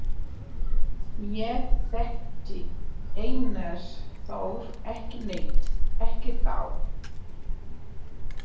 Ég þekkti Einar Þór ekki neitt, ekki þá.